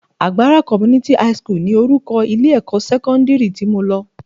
Agbara Community high school ni orúkọ ilé-ẹ̀kọ́ sẹ́kọ́ndírì tí mo lọ